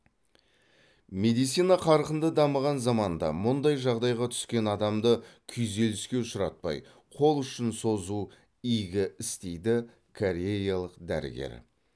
медицина қарқынды дамыған заманда мұндай жағдайға түскен адамды күйзеліске ұшыратпай қол ұшын созу игі іс дейді кореялық дәрігер